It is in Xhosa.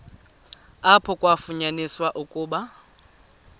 apho kwafunyaniswa ukuba